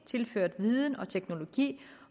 tilført viden og teknologi